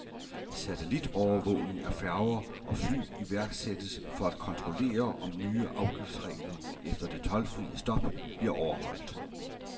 Satellitovervågning af færger og fly iværksættes for at kontrollere, om nye afgiftsregler efter det toldfrie stop bliver overholdt.